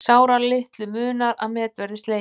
Sáralitlu munar að met verði slegið